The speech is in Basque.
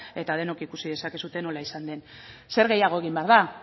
eta denok ikusi dezakezue nola izan den zer gehiago egin behar da